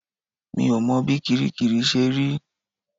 Mi ò mọ bí kiríkirì ṣe rí